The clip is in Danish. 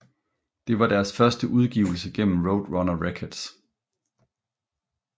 Det var deres første udgivelse gennem Roadrunner Records